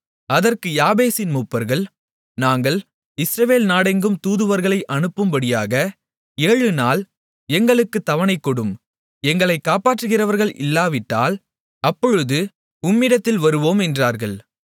அதற்கு யாபேசின் மூப்பர்கள் நாங்கள் இஸ்ரவேல் நாடெங்கும் தூதுவர்களை அனுப்பும்படியாக ஏழு நாள் எங்களுக்குத் தவணைகொடும் எங்களை காப்பாற்றுகிறவர்கள் இல்லாவிட்டால் அப்பொழுது உம்மிடத்தில் வருவோம் என்றார்கள்